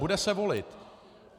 Bude se volit.